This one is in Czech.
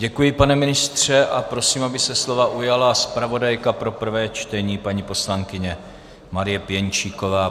Děkuji, pane ministře, a prosím, aby se slova ujala zpravodajka pro prvé čtení, paní poslankyně Marie Pěnčíková.